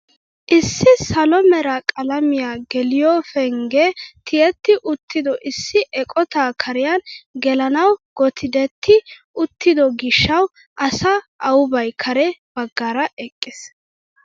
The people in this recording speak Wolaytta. Issi salo mera qalamiyaa geliyoo penggee tiyetti uttido issi eqotaa kariyaan gelanawu gotddeti uttido gishshawu asa aubbay kare baggaara eqqiis!